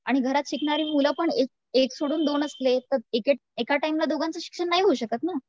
आणि घरात शिकणारी मुलं पण एक सोडून दोन असली तर एका टाईमला दोघांचं शिक्षण नाही होऊ शकत ना